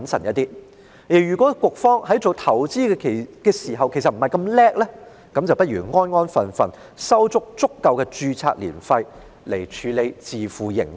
局方如果不是那麼擅長投資，便不如安份守己，收取十足的註冊年費，以便能自負盈虧。